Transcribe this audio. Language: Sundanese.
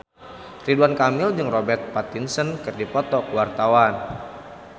Ridwan Kamil jeung Robert Pattinson keur dipoto ku wartawan